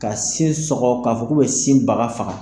Ka sin sɔkɔ k'a fɔ k'u bɛ sin baga faga